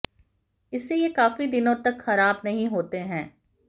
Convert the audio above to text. इससे ये काफी दिनों तक खराब नहीं होते हैं